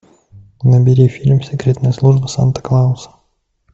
набери фильм секретная служба санта клауса